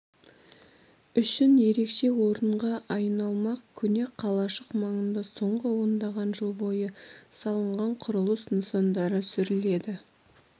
үшін ерекше орынға айналмақ көне қалашық маңында соңғы ондаған жыл бойы салынған құрылыс нысандары сүріледі